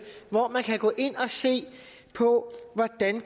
hvor man kan gå ind og se på hvordan